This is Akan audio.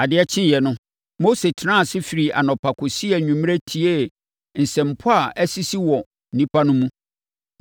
Adeɛ kyeeɛ no, Mose tenaa ase firii anɔpa kɔsii anwummerɛ tiee nsɛmpɔ a asisi wɔ nnipa no mu.